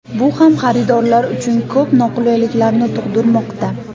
Bu ham xaridorlar uchun ko‘p noqulayliklarni tug‘dirmoqda.